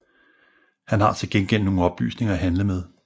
Han har til gengæld nogle oplysninger at handle med